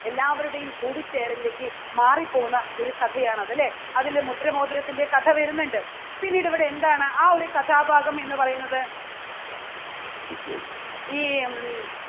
എല്ലാവരുടെയും കൂടിച്ചേരലിലേക്ക് മാറിപ്പോകുന്ന ഒരു കഥയാണത്. അല്ലേ? അതിലെ മുദ്ര മോതിരത്തിന്റെ കഥ വരുന്നുണ്ട് പിന്നീട് ഇവിടെ എന്താണ് ആ ഒരു കഥാഭാഗം എന്ന് പറയുന്നത് ഈ ഉം